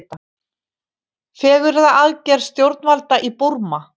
Fegrunaraðgerð stjórnvalda í Búrma